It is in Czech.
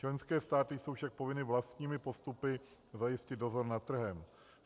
Členské státy jsou však povinny vlastními postupy zajistit dozor nad trhem.